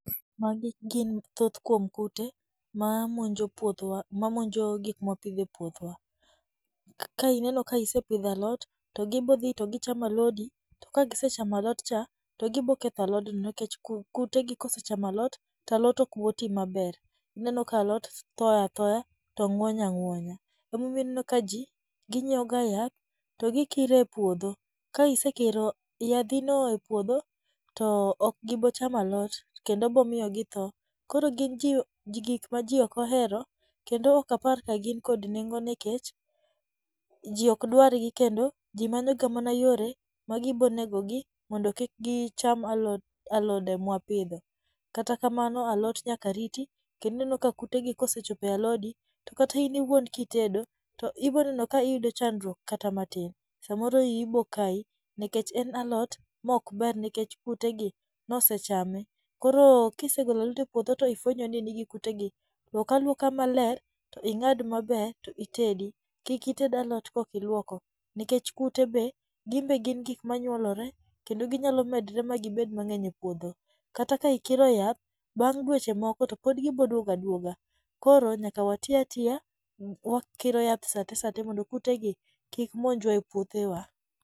Magi gin thoth kuom kute ma monjo puothwa ma monjo gik mwa pidho e puothwa. Ka ineno ka isepidho alot to gibodhi to gichamo alodi, to kasichamo alot cha to gibo ketho alodno nikech kut kutegi kosechamo alot to alot ok boti maber. Ineno ka alot tho athoya kendo ng'wony ang'wonya. emomiyo ineno ka ji ginyiewo ga yath to gikire e puodho. Ka isekiro yadhino e puodho to ok gibo chamo alot kendo bomiyo githo. Koro gin ji gik ma ji ok ohero, kendo ok apar ka gin kod nengo nikech ji ok dwargi kendo ji manyo ga mana yore ma gibonegogi mondo kik gicham alod alode mwa pidho. Kata kamano alot nyaka rito kendo ineno ka kutegi ka osechopo e alodi, to kata in iwuon ki itedo to iboneno ka iyudo chandruok kata matin. Samoro iyi bokai nikech en alot mok ber nikech kutegi nosechame. Koro kisegolo alot e puodho to ifwenyo ni nigi kutegi, luok aluoka maler, to ing'ad maber to itedi. Kik ited alot ka ok iluoko nikech kute be gin be gin gik manyuolore kendo ginyalo medre magibed mang'eny e puodho, kata ka ikiro yath, bang' dweche moko to pod giboduogo aduoga. Koro nyaka wati atiya wakiro yath saa te mondo kutegi kik monjwa e puothewa.